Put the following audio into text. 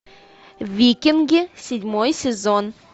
викинги седьмой сезон